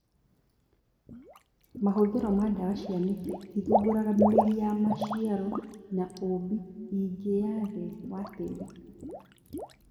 Mahũthĩro ma ndawa cia mĩtĩ itithumbũraga mĩri ya maciaro na ũũmbi ingĩ ya thĩ wa tĩri